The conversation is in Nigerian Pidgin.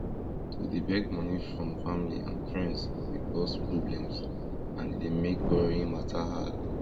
to dey beg money from family and friends dey cause problems and e dey make borrowing mata hard